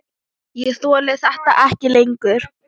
Ég þoli þetta ekki lengur.